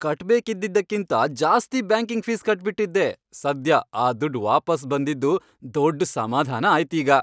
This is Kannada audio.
ಕಟ್ಬೇಕಿದ್ದಿದ್ದಕ್ಕಿಂತ ಜಾಸ್ತಿ ಬ್ಯಾಂಕಿಂಗ್ ಫೀಸ್ ಕಟ್ಬಿಟಿದ್ದೆ, ಸದ್ಯ ಆ ದುಡ್ಡ್ ವಾಪಸ್ ಬಂದಿದ್ದು ದೊಡ್ಡ್ ಸಮಾಧಾನ ಆಯ್ತ್ ಈಗ.